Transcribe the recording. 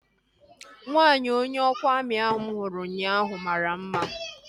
Nwaanyi onye ọkwa amị ahu mụ hụrụ ụnyaahụ mara mma